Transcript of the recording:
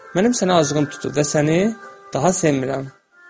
Mənim sənə acığım tutub və səni daha sevmirəm.